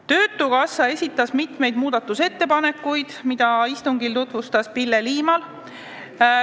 Töötukassa esitas mitu muudatusettepanekut, mida istungil tutvustas Pille Liimal.